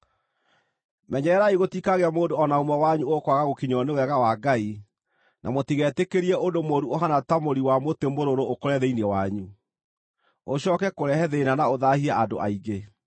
Menyererai gũtikagĩe mũndũ o na ũmwe wanyu ũkwaga gũkinyĩrwo nĩ Wega wa Ngai, na mũtigetĩkĩrie ũndũ mũũru ũhaana ta mũri wa mũtĩ mũrũrũ ũkũre thĩinĩ wanyu, ũcooke kũrehe thĩĩna na ũthaahie andũ aingĩ.